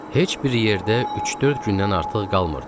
Heç bir yerdə üç-dörd gündən artıq qalmırdıq.